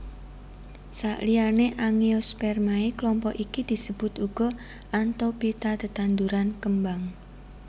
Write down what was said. Saliyané Angiospermae klompok iki disebut uga Anthophyta tetanduran kembang